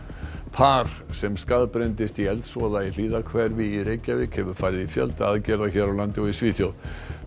par sem í eldsvoða í Hlíðahverfi í Reykjavík hefur farið í fjölda aðgerða hér á landi og í Svíþjóð